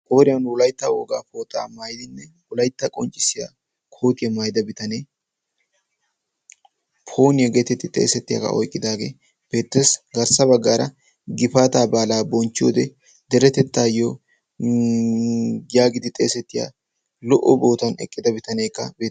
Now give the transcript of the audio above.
Qooriyaan Wolaytta wogaa pooxaa maayidinne ulaitta qonccissiya kootiyaa maayida bitanee poniyaageetetti xeesettiyaagaa oiqqidaagee peetes garssa baggaara gifaataa baalaa bonchchi wode deretettaayyo yaagidi xeesettiya lo"o bootan eqqida bitaneekka.